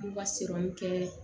U b'u ka kɛ